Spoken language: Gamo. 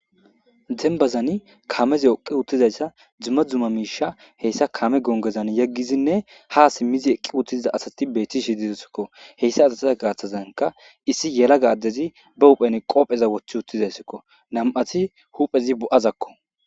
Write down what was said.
Dembazan kameze yoqi uttizayssa dzumma dzuma miisha heyssa kame gongozan yeggizinne ha simmizi eqqi uttiziza asati beeti shididsikko heyssa asatiza gaaththazanka issi yela ga addezi ba huphen qoopheza wothi uttizayssikko nam'ati huphezi bo'azakko.